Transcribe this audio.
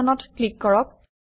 Sheet1 অত click কৰক